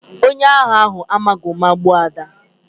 Onye agha ahụ amaghị ụma gbagbuo Ada